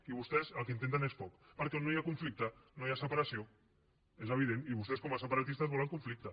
i vostès el que intenten és foc perquè on no hi ha conflicte no hi ha separació és evident i vostès com a separatistes volen conflicte